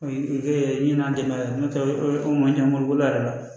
O kɛ ɲinan tɛmɛna n'o tɛ o man ca mobili bolo a yɛrɛ la